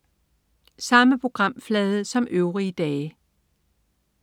Samme programflade som øvrige dage